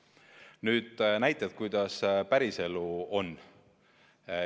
Nüüd näited, kuidas päris elu on.